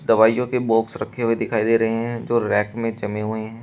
दवाइयों के बॉक्स रखे हुए दिखाई दे रहे हैं जो रैक में जमे हुए हैं।